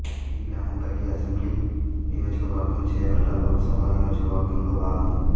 ఈ గ్రామం పరిగి అసెంబ్లీ నియోజకవర్గం చేవెళ్ళ లోకసభ నియోజకవర్గంలో భాగము